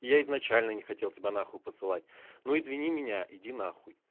я изначально не хотел тебя нахуй посылать ну извини меня иди нахуй